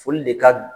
Foli de ka bon